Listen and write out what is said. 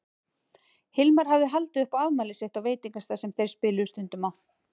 Hilmar hafði haldið upp á afmælið sitt á veitingastað sem þeir spiluðu stundum á.